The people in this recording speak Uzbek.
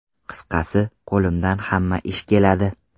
Qisqasi, qo‘limdan hamma ish keladi.